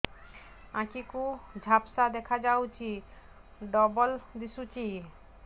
ଆଖି କୁ ଝାପ୍ସା ଦେଖାଯାଉଛି ଡବଳ ଦିଶୁଚି